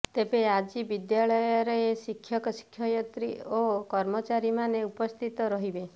ତେବେ ଆଜି ବିଦ୍ୟାଳୟରେ ଶିକ୍ଷକ ଶିକ୍ଷୟିତ୍ରୀ ଓ କର୍ମଚାରୀମାନେ ଉପସ୍ଥିତ ରହିବେ